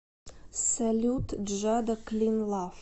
салют джада клин лав